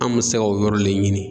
An man se ka o yɔrɔ le ɲini.